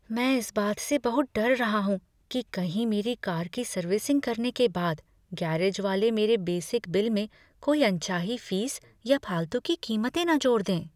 मैं इस बात से बहुत डर रहा हूँ कि कहीं मेरी कार की सर्विसिंग करने के बाद गैरेज वाले मेरे बेसिक बिल में कोई अनचाही फीस या फालतू की कीमतें न जोड़ दें।